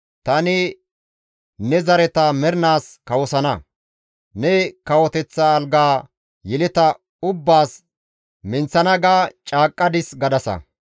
‹Tani ne zareta mernaas kawosana; ne kawoteththa algaa yeleta ubbaas minththana› ga caaqqadis» gadasa.